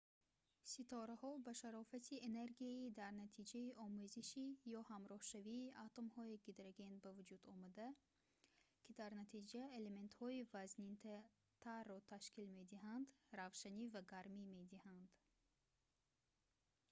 ситораҳо ба шарофати энергияи дар натиҷаи омезиши ё ҳамроҳшавии атомҳои гидроген ба вуҷудомада ки дар натиҷа элементҳои вазнинтарро ташкил медиҳанд равшанӣ ва гармӣ медиҳанд